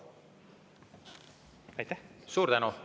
Suur tänu!